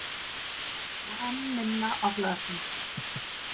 Og enn minna á glasinu.